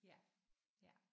Ja ja